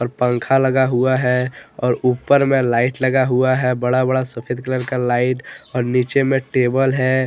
पंख लगा हुआ है और ऊपर में लाइट लगा हुआ है बड़ा बड़ा सफेद कलर का लाइट और नीचे में टेबल है।